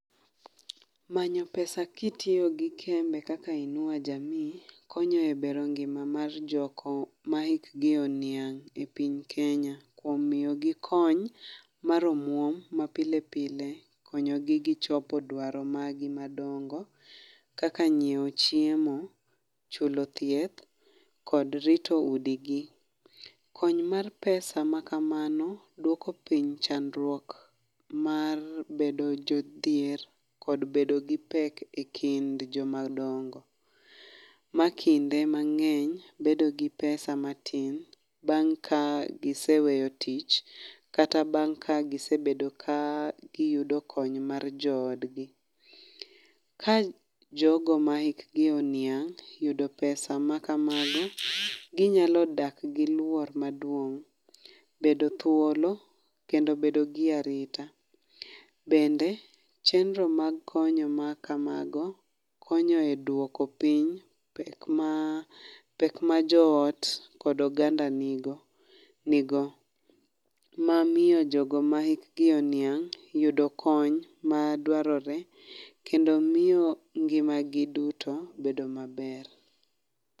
Manyo pesa kitiyo gi kembe kaka Inua Jamii konyo e bero ngima mar jogo mahikgi oniang' e piny Kenya, kuom miyogi kony mar omuom ma pile pile konyo gi gichopo dwaro margi madongo kaka nyiewo chiemo, chulo thieth kod rito udigi. Kony mar pesa makamano duoko piny chandruok mar bedo jodhier kod bedo gi pek ekind jomadongo makinde mang'eny bedo gi esa matin bang' ka giseweyoo tich kata bang' kagise bedo ka giyudo kony mar joodgi. Ka jogo ma hikgi oniang' yudo pesa makamago ginyalo dak gi luoro maduong' . Bedo gi thuolo kendo bedo gi arita. Bende chenro mag konyo makamago konyo e duoko piny pek ma pek ma joot kod oganda ni go ni go mamiyo jogo ma hikgi oniang' yudo kony maduarore kendo miyo ngimagi duto bedo maber.